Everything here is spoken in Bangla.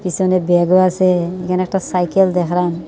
পিছনে ব্যাগও আছে এখানে একটা সাইকেল দেখলাম।